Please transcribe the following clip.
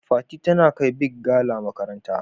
Fati tana kai " big gala" makaranta.